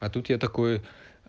а тут я такой